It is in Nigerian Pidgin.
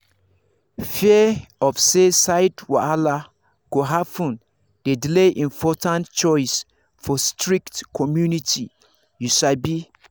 fear of say side wahala go happen dey delay important choice for strict community you sabi